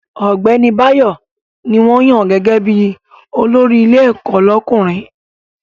Ọ̀gbẹ́ni Báyọ̀ ní wọ́n yàn gẹ́gẹ́ bí olórí ilé ẹ̀kọ́ lọ́kùnrin